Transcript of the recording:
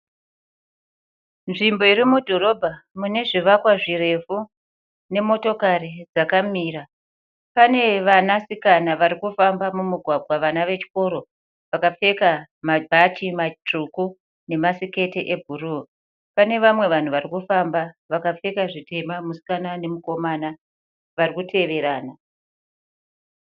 Nzvimbo iri mudhorobha mune zvivakwa zvirefu nemotokari dzakamira. Pane vanasikana vari kufamba mumugwagwa vana vechikoro vakapfeka mabhachi matsvuku nemasiketi ebhuruu. Pane vamwe vanhu vari kufamba vakapfeka zvitema mukomana nemusikana vari kuteverana.